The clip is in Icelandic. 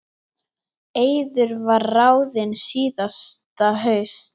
Eiður var ráðinn síðasta haust.